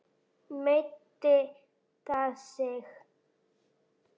Meiddi það sig?